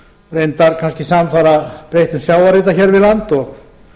reyndar kannski samfara breyttum sjávarhita hér við land og